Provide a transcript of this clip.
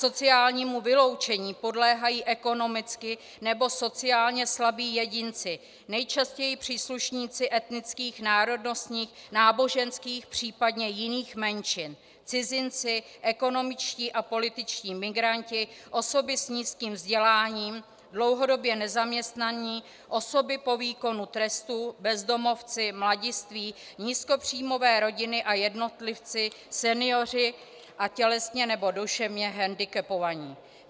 Sociálnímu vyloučení podléhají ekonomicky nebo sociálně slabí jedinci, nejčastěji příslušníci etnických, národnostních, náboženských, případně jiných menšin - cizinci, ekonomičtí a političtí migranti, osoby s nízkým vzděláním, dlouhodobě nezaměstnaní, osoby po výkonu trestu, bezdomovci, mladiství, nízkopříjmové rodiny a jednotlivci, senioři a tělesně nebo duševně hendikepovaní.